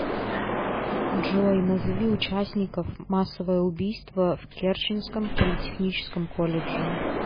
джой назови участников массовое убийство в керченском политехническом колледже